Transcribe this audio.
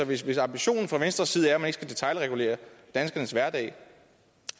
hvis hvis ambitionen fra venstres side er at man ikke skal detailregulere danskernes hverdag